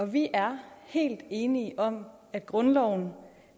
vi er helt enige om at grundloven